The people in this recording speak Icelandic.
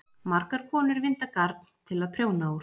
margar konur vinda garn til að prjóna úr